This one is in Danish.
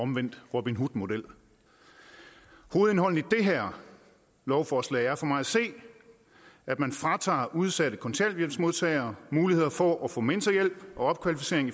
omvendt robin hood model hovedindholdet i det her lovforslag er for mig at se at man fratager udsatte kontanthjælpsmodtagere muligheden for at få mentorhjælp og opkvalificering